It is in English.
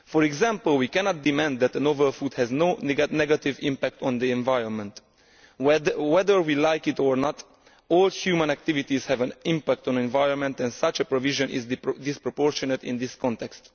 For example, we cannot demand that a novel food has no negative impact on the environment. Whether we like it or not, all human activities have an impact on the environment, and such a provision is disproportionate in this context.